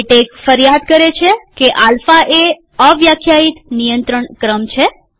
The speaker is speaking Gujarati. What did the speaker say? લેટેક ફરિયાદ કરે છે કે આલ્ફા એ અવ્યાખ્યાયિત નિયંત્રણ ક્રમ છે